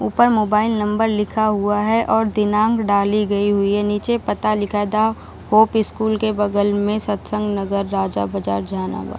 ऊपर mobile number लिखा हुआ है और दिनांक डाली गई हुई है नीचे पता लिखा था होप स्कूल के बगल में सतसंग नगर राजा बाजार जहानाबाद ।